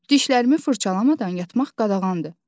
Dişlərimi fırçalamadan yatmaq qadağandır.